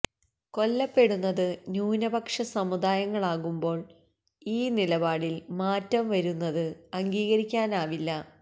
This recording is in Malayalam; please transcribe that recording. കൊല്ലപ്പെടുന്നത് ന്യൂനപക്ഷ സമുദായങ്ങളാകുമ്പോൾ ഈ നിലപാടിൽ മാറ്റം വരുന്നത് അംഗീകരിക്കാനാവില്ല